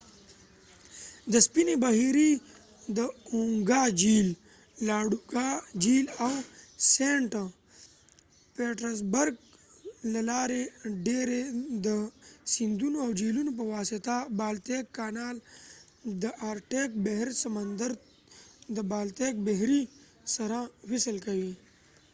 د سپینې بحیرې–د اونګا جھیل، لاډوګا جهیل او سینټ پیټرزبرګ له لارې، ډیری د سیندونو او جهيلونو په واسطه بالتیک کانال د آرټیک بحر سمندر د بالتیک بحیرې سره وصل کوي